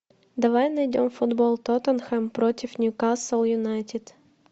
давай найдем футбол тоттенхэм против ньюкасл юнайтед